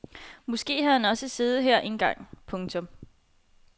Måske havde han også siddet her engang. punktum